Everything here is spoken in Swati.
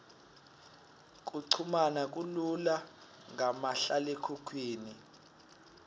kuchumana kulula ngamahlalekhukhwini